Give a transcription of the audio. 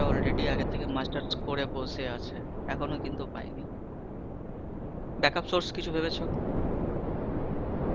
already আগে থেকে masters করে বসে আছে, এখনো কিন্তু পায়নি, backup source কিছু ভেবেছো?